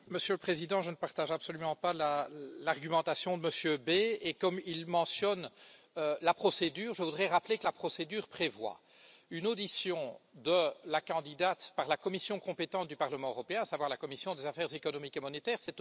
Monsieur le président, je ne partage absolument pas l'argumentation de Monsieur Bay et comme il mentionne la procédure, je voudrais rappeler que la procédure prévoit une audition de la candidate par la commission compétente du Parlement européen, à savoir la commission des affaires économiques et monétaires.